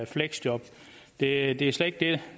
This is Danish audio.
fleksjob det er det er slet ikke det